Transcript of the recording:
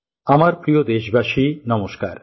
আমার প্রিয় দেশবাসী নমস্কার